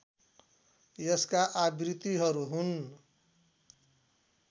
यसका आवृत्तिहरू हुन्